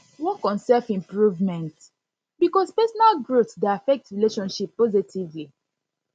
work on self improvement because personal growth dey affect relationship positively